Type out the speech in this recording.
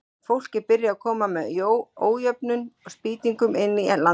Fólk er byrjað að koma með ójöfnum spýtingum inn í landhelgina.